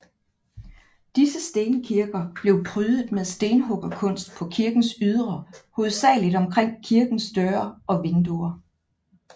Disse stenkirker blev prydet med stenhuggerkunst på kirkens ydre hovedsageligt omkring kirkens døre og vinduer